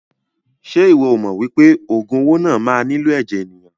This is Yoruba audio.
Ṣe iwọ o mọ wípé ogun owó náà má nilo ẹ̀jẹ̀ ènìyàn?